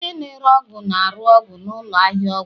Onye na-ere ọgwụ na-arụ ọrụ na ụlọ ahịa ọgwụ